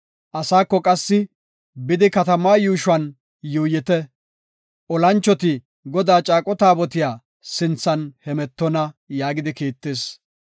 Asaako qassi, “Bidi, katamaa yuushuwan yuuyite; olanchoti Godaa caaqo taabotiya sinthan hemetonna” yaagidi kiittis.